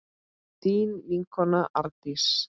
Þín vinkona Arndís.